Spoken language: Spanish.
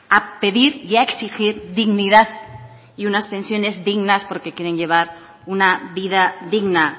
a pedir y a exigir dignidad y unas pensiones dignas porque quieren llevar una vida digna